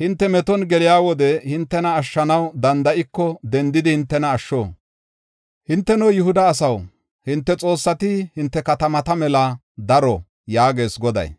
Hinte meton geliya wode hintena ashshanaw danda7iko dendidi hintena asho. Hinteno, Yihuda asaw, hinte xoossati hinte katamata mela daro” yaagees Goday.